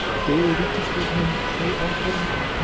Kristján Már Unnarsson: Styður ríkisstjórnin þau áform?